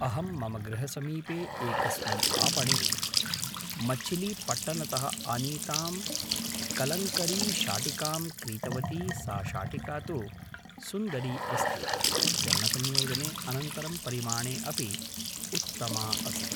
अहं मम गृहसमीपे एकस्मिन् आपणे मछिलीपट्टनतः आनीतां कलंकरीशाटिकां क्रीतवती सा शाटिका तु सुन्दरी अस्ति वर्णसंयोजने अनन्तरं परिमाणे अपि उत्तमा अस्ति